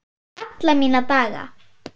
Alla mína daga.